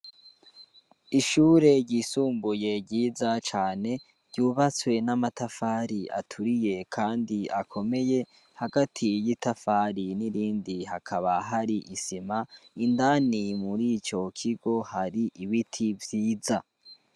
Ishure ryisumbuye ryiza cane ryubatswe n'amatafari aturiye kandi akomeye hagati y'itafari n'irindi hakaba hari isima indani murico kigo hari ibiti vyiza